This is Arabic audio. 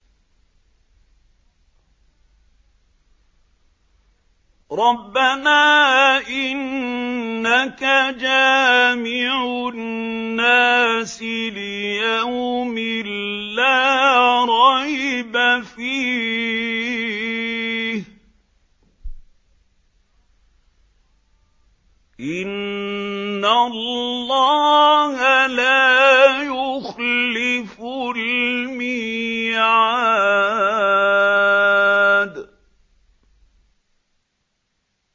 رَبَّنَا إِنَّكَ جَامِعُ النَّاسِ لِيَوْمٍ لَّا رَيْبَ فِيهِ ۚ إِنَّ اللَّهَ لَا يُخْلِفُ الْمِيعَادَ